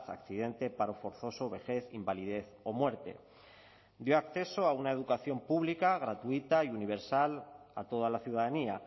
accidente paro forzoso vejez invalidez o muerte dio acceso a una educación pública gratuita y universal a toda la ciudadanía